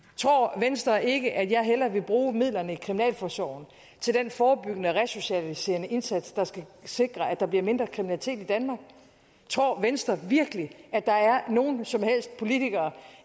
tror venstre ikke at jeg hellere vil bruge midlerne i kriminalforsorgen til den forebyggende resocialiserende indsats der skal sikre at der bliver mindre kriminalitet i danmark tror venstre virkelig at der er nogen som helst politikere